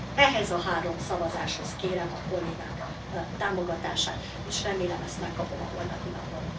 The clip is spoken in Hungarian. Ehhez a három szavazáshoz kérem a kollégák támogatását, és remélem, ezt megkapom a holnapi napon.